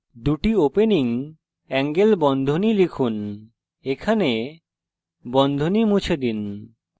দুটি opening angle বন্ধনী লিখুন এখানে বন্ধনী মুছে দিন